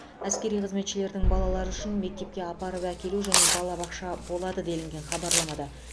әскери қызметшілердің балалары үшін мектепке апарып әкелу және балабақша болады делінген хабарламада